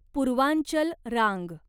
पूर्वांचल रांग